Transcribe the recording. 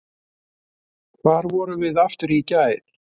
Hvar vorum við aftur í gær?